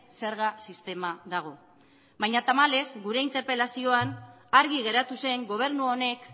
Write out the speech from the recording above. zerga sistema dago baina tamalez gure interpelazioan argi geratu zen gobernu honek